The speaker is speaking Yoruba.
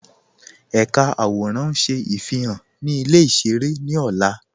Ẹ̀ká àwọ̀rán ń ṣé ifihan ni ilẹ̀ ìṣẹ̀rẹ̀ ni ọ̀là.